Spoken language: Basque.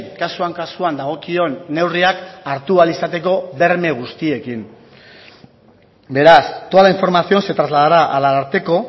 kasuan kasuan dagokion neurriak hartu ahal izateko berme guztiekin beraz toda la información se trasladará al ararteko